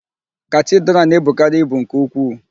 Katidral na-ebukarị ibu nke ukwuu.